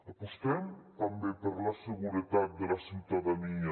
apostem també per la seguretat de la ciutadania